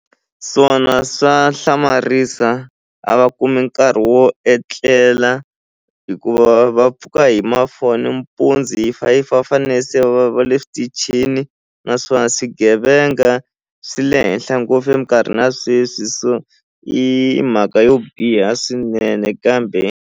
Swona swa hlamarisa a va kumi nkarhi wo etlela hikuva va pfuka hi ma-four nimpundzu hi five va fane se va va le switichini naswona swigevenga swi le henhla ngopfu eminkarhini ya sweswi so i mhaka yo biha swinene kambe.